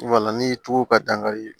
ni tuba dankari